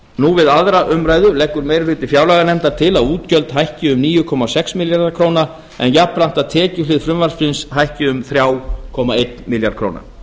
nú við aðra umræðu leggur meiri hluti fjárlaganefndar til að útgjöld hækki um níu komma sex milljarða króna en jafnframt að tekjuhlið frumvarpsins hækki um þrjú komma einn milljarð króna